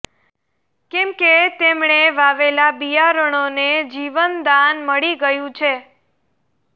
કેમકે તેમણે વાવેલા બિયારણો ને જીવંતદાન મળી ગયું છે